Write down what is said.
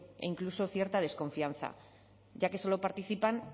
e incluso cierta desconfianza ya que solo participan